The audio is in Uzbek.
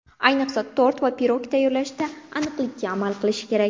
Ayniqsa tort va pirog tayyorlashda aniqlikka amal qilish kerak.